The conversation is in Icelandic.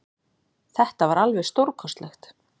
Þetta var alveg stórkostlegt